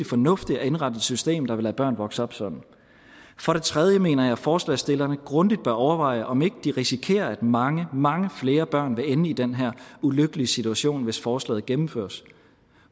fornuftigt at indrette et system der vil lade børn vokse op sådan for det tredje mener jeg at forslagsstillerne grundigt bør overveje om ikke de risikerer at mange mange flere børn vil ende i den her ulykkelige situation hvis forslaget gennemføres